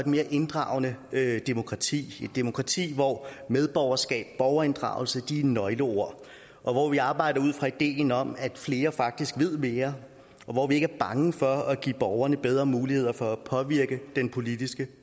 mere inddragende demokrati et demokrati hvor medborgerskab borgerinddragelse er nøgleord og hvor vi arbejder ud fra ideen om at flere faktisk ved mere og hvor vi ikke er bange for at give borgerne bedre muligheder for at påvirke den politiske